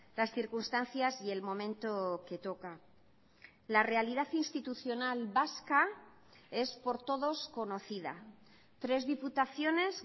las circunstancias y el momento que toca la realidad institucional vasca es por todos conocida tres diputaciones